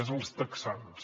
és els texans